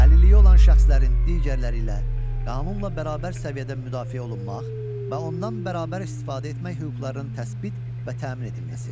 Əlilliyi olan şəxslərin digərləri ilə qanunla bərabər səviyyədə müdafiə olunmaq və ondan bərabər istifadə etmək hüquqlarının təsbit və təmin edilməsi.